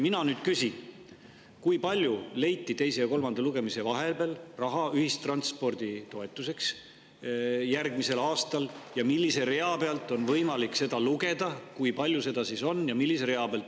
Mina nüüd küsin, kui palju leiti teise ja kolmanda lugemise vahepeal raha ühistranspordi toetuseks järgmisel aastal ja millise rea pealt on võimalik seda lugeda, kui palju seda on ja millise rea peal.